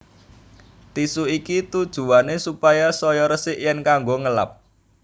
Tisu iki tujuwané supaya saya resik yèn kanggo ngelap